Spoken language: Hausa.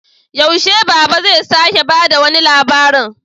Yaushe Baba zai sake ba da wani labarin?